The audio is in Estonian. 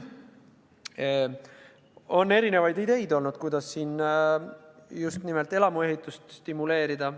On olnud erinevaid ideid, kuidas just nimelt elamuehitust stimuleerida.